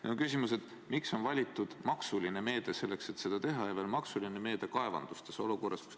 Minu küsimus: miks on valitud maksumeede selleks, et seda teha, ja veel maksumeede kaevanduste toetuseks?